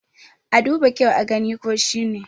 a duba kyau a gani ko shi ne!